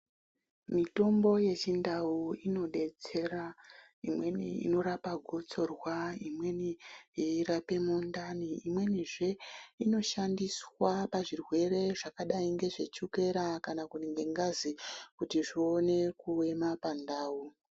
Mitombo yechindau inodetsera. Imweni inorapa gotsorwa , imweni yeirape mundani imwenizve inoshandiswa pazvirwere zvakadai ngezvechokera kana ngengazi kuti zvione kuema pandau.